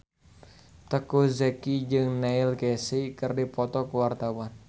Teuku Zacky jeung Neil Casey keur dipoto ku wartawan